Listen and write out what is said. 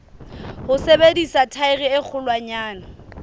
ho sebedisa thaere e kgolwanyane